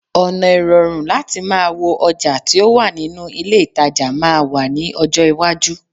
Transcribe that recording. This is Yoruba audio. ona irorun lati maa wo oja ti o wa ninu ile itaja maa wa ni ojo iwaju